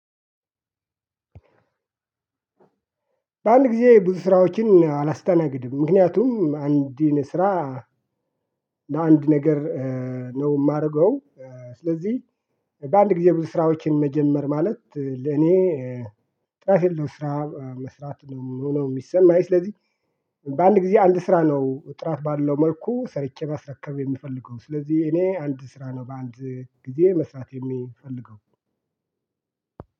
በአንድ ጊዜ ብዙ ስራዎችን አላስተናግድም ምክንያቱም አንድን ስራ ለአንድ ነገር ነው የማደርገው። ስለዚህ በአንድ ጊዜ ብዙ ስራዎችን መጀመር ማለት ለኔ ጥራት የሌለው ስራ መስራት ነው የሚሰማኝ። ስለዚህ በአንድ ጊዜ አንድ ስራ ነው ጥራት ባለው መልኩ ሰርቼ ማስረከብ የምፈልገው ስለዚህ እኔ አንድ ስራ ነው በአንድ ጊዜ መስራት የምፈልገው።